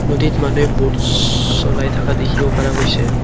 নদীত মানুহে বুটছ চলাই থকা দেখিবলৈ পোৱা গৈছে।